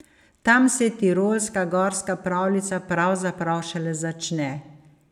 Tam se tirolska gorska pravljica pravzaprav šele začne.